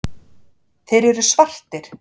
Þeir eru svartir.